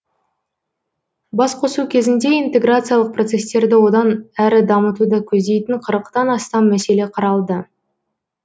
басқосу кезінде интеграциялық процестерді одан әрі дамытуды көздейтін қырықтан астам мәселе қаралды